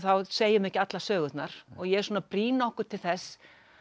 segjum ekki allar sögurnar og ég er svona að brýna okkur til þess